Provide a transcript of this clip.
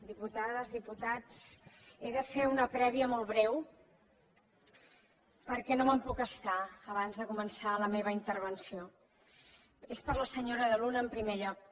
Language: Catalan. diputades diputats he de fer una prèvia molt breu perquè no me’n puc estar abans de començar la meva intervenció és per a la senyora de luna en primer lloc